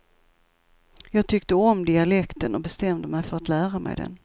Jag tyckte om dialekten och bestämde mig för att lära mig den.